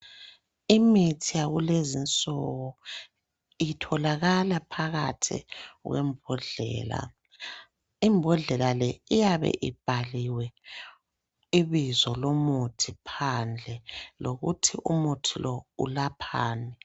Imithi yakulezinsuku itholakala phakathi kwembodlela, imbodlela le iyabe ibhaliwe ibizo lomuthi phandle lokuthi umuthi lo ulaphani.